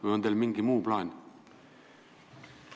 Või on teil mingi muu plaan?